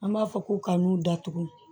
An b'a fɔ ko ka n'u datugu